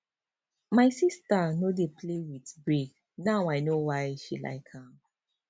my sister no dey play with break now i know why she like am